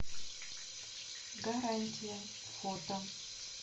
гарантия фото